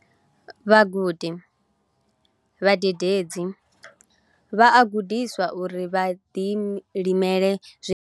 Vhagudi vhadededzi na vhabebi vha a gudiswa uri vha ḓilimele zwiḽiwa zwavho.